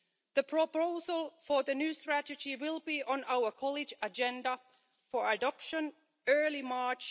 The proposal for the new strategy will be on our college agenda for adoption in early March.